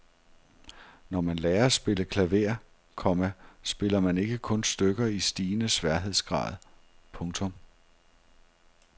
Når man lærer at spille klaver, komma spiller man ikke kun stykker i stigende sværhedsgrad. punktum